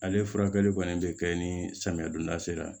Ale furakɛli kɔni be kɛ ni samiya donda sera